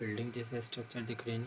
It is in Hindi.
बिल्डिंग जैसा स्ट्रक्चर दिख रही --